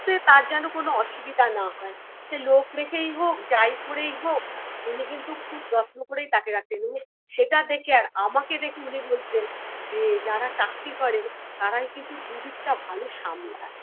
তে তার যেন কোন অসুবিধে না হয় সে লোক রেখেই হোক যাই করেই হোক উনি কিন্তু খুব যত্ন করেই তাকে রাখতেন উনি সেটা দেখে আর আমাকে দেখে উনি বলতেন যে যারা চাকরি করে তারাই কিন্তু দু দিকটা ভালো সামলায়